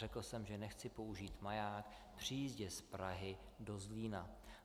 Řekl jsem, že nechci použít maják při jízdě z Prahy do Zlína.